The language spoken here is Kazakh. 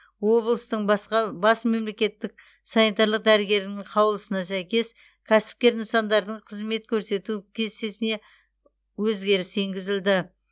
облыстың басқа бас мемлекеттік санитарлық дәрігерінің қаулысына сәйкес кәсіпкер нысандардың қызмет көрсету кестесіне өзгеріс енгізілді